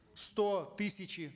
сто тысячи